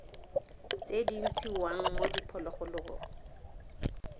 tse di ntshiwang mo diphologolong